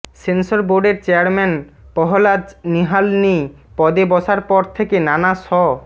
sensor বোর্ডের chairman Pahlaj Nihalani পদে বসার পর থেকে নানা স